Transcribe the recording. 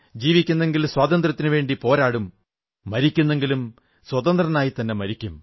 ജീവിക്കുന്നെങ്കിൽ സ്വാതന്ത്ര്യത്തിനുവേണ്ടി പോരാടും മരിക്കുന്നെങ്കിലും സ്വതന്ത്രനായിത്തന്നെ മരിക്കും